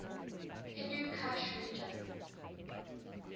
hindu kush region